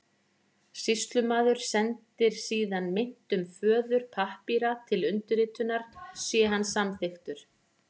Sýslumaður sendir síðan meintum föður pappíra til undirritunar sé hann samþykkur.